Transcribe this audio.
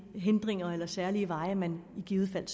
hindringer eller særlige veje man i givet fald